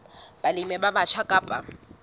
balemi ba batjha ba ka